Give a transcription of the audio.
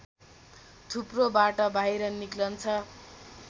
थुप्रोबाट बाहिर निकल्छ